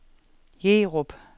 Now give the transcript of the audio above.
Jerup